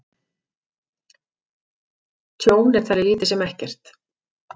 Tjón er talið lítið sem ekkert